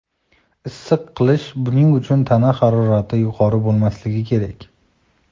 Issiq qilish Buning uchun tana harorati yuqori bo‘lmasligi kerak.